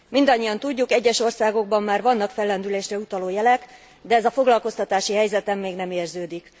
Mindannyian tudjuk, egyes országokban már vannak fellendülésre utaló jelek, de ez a foglalkoztatási helyzeten még nem érződik.